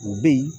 U bɛ yen